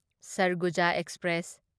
Sarguja express